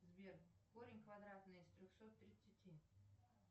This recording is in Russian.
сбер корень квадратный из трехсот тридцати